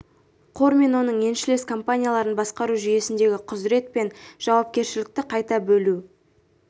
қор мен оның еншілес компанияларын басқару жүйесіндегі құзырет пен жауапкершілікті қайта бөлу